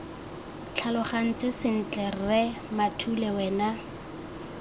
tlhalogantse sentle rre mathule wena